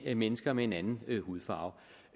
til mennesker med en anden hudfarve